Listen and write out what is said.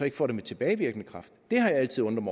ikke får den med tilbagevirkende kraft det har jeg altid undret